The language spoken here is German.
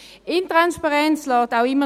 Intransparenz lässt auch immer